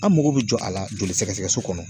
An mago bɛ jɔ a la joli sɛgɛsɛgɛ so kɔnɔ